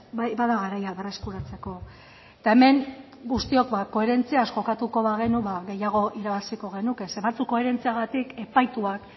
bai bada garaia berreskuratzeko eta hemen guztiok koherentziaz jokatuko bagenu ba gehiago irabaziko genuke zeren batzuk koherentziagatik epaituak